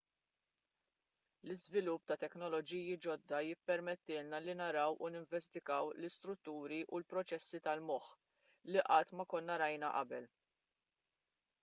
l-iżvilupp ta' teknoloġiji ġodda jippermettilna li naraw u ninvestigaw l-istrutturi u l-proċessi tal-moħħ li qatt ma konna rajna qabel